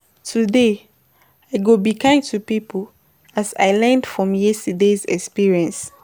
Today, I go be kind to people as I learned from yesterday's experience.